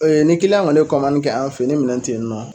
Ee ye ni kiliyan kɔni ye kɔmani mani kɛ an fe yen ni minɛn ten yen nɔ